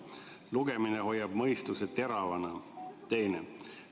Lugemine hoiab mõistuse teravana, on teiseks.